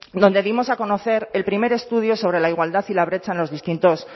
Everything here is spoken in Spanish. donde dimos a conocer el primer estudio sobre la igualdad y la brecha en los distintos